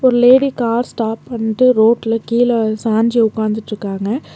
Lady car stop பன்ட்டு ரோட்ல கீழ சாஞ்சி உக்காந்துட்ருக்காங்க.